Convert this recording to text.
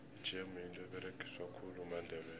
ijemu yinto eberegiswa khulu mandebele